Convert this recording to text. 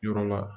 Yɔrɔ la